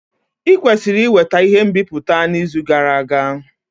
I kwesiri iweta ihe nbipute n'izu gara aga.